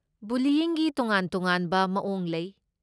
ꯕꯨꯂꯤꯌꯤꯡꯒꯤ ꯇꯣꯉꯥꯟ ꯇꯣꯉꯥꯟꯕ ꯃꯑꯣꯡ ꯂꯩ꯫